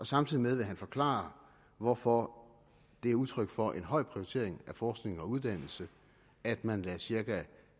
samtidig vil han forklare hvorfor det er udtryk for en høj prioritering af forskning og uddannelse at man lægger cirka